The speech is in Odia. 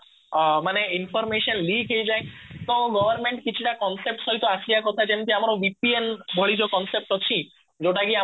ଅ ମାନେ information ଲିକ ହେଇଯାଏ ତ government କିଛି ଟା concept ସହ ଆସିବା କଥା ଯେମିତି ଆମର BPL ଭଳି ଯୋଉ concept ଅଛି ଯୋଉଟା କି